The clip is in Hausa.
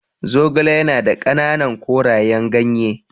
Zogale ya na da ƙananan korayen ganye.